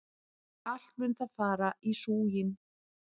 Allt mun það fara í súginn!